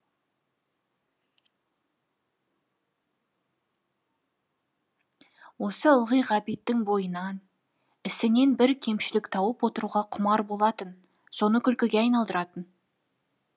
осы ылғи ғабиттің бойынан ісінен бір кемшілік тауып отыруға құмар болатын соны күлкіге айналдыратын